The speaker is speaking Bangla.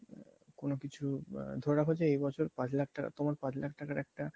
কোনো কিছু বা ধরে রাখো যে এই বছর পাঁচ লাখ টাকা তোমার পাঁচ লাখ টাকার একটা